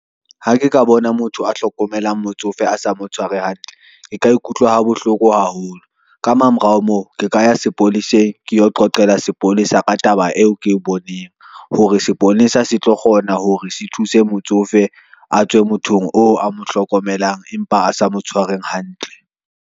Ha ke ka bona motho a hlokomelang motsofe a sa mo tshware hantle, ke ka ikutlwa ha bohloko haholo ka mamorao moo ke ka ya sepoleseng. Keyo qoqele sepolesa ka taba eo ke boneng hore sepolesa se tlo kgona hore se thuse motsofe a tswe mothong oo a mo hlokomelang empa a sa mo tshwareng hantle.